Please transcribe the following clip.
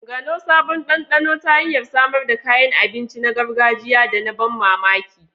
Gano sabon dandano ta hanyar samar da kayan abinci na gargajiya da na ban mamaki.